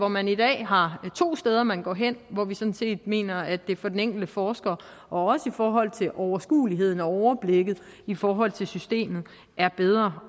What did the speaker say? man i dag har to steder man går hen hvor vi sådan set mener at det for den enkelte forsker og også i forhold til overskueligheden og overblikket i forhold til systemet er bedre